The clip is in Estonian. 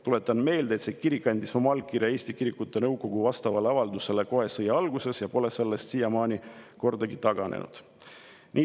Tuletan meelde, et see kirik andis oma allkirja Eesti Kirikute Nõukogu vastavale avaldusele kohe sõja alguses ja pole sellest siiamaani kordagi taganenud.